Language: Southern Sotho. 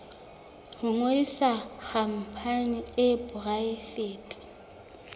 ho ngodisa khampani e poraefete